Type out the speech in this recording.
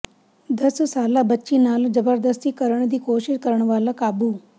ਦਸ ਸਾਲਾ ਬੱਚੀ ਨਾਲ ਜਬਰਦਸਤੀ ਕਰਨ ਦੀ ਕੋਸ਼ਿਸ ਕਰਨ ਵਾਲਾ ਕਾਬੂ